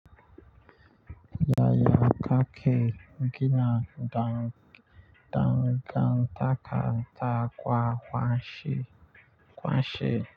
Yaya kake kina dangan taka takwa kwanshi kwanshi.